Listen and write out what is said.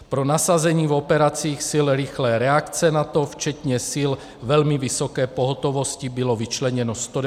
Pro nasazení v operacích sil rychlé reakce NATO, včetně sil velmi vysoké pohotovosti, bylo vyčleněno 191 vojáků.